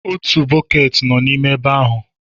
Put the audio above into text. Otu bọket nọ n'ime ebe ahụ.